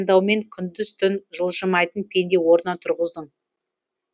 уайымдаумен күндіз түн жылжымайтын пенде орнынан тұрғыздың